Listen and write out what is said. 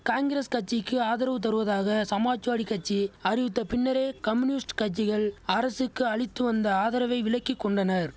காங்கிரஸ் கட்சிக்கு ஆதரவு தருவதாக சமாஜ்வாடி கட்சி அறிவித்த பின்னரே கம்யூனிஸ்ட் கட்சிகள் அரசுக்கு அளித்து வந்த ஆதரவை விலக்கி கொண்டனர்